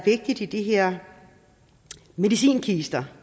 i de her medicinkister